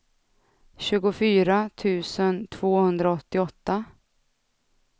tjugofyra tusen tvåhundraåttioåtta